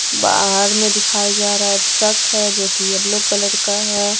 बाहर में दिखाया जा रहा है ट्रक है जो कि येलो कलर का है।